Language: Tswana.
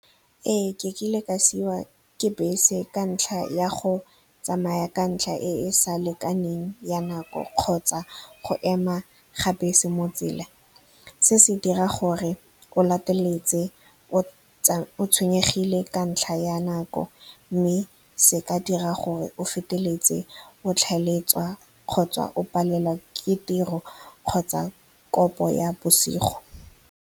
Ee, ke kile ka siwa ke bese ka ntlha ya go tsamaya ka ntlha e sa lekaneng ya nako kgotsa go ema ga bese mo tsela. Se se dira gore o lateletswe o tshwenyegile ka ntlha ya nako, mme se ka dira gore o feteletse o tlhaeletsa kgotsa o palelwa ke tiro kgotsa kopo ya bosigo.